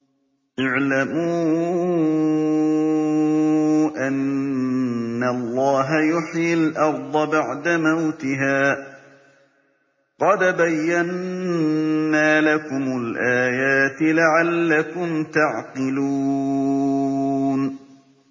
اعْلَمُوا أَنَّ اللَّهَ يُحْيِي الْأَرْضَ بَعْدَ مَوْتِهَا ۚ قَدْ بَيَّنَّا لَكُمُ الْآيَاتِ لَعَلَّكُمْ تَعْقِلُونَ